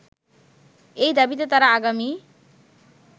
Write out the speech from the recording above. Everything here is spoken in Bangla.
এই দাবিতে তারা আগামী